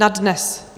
Na dnes?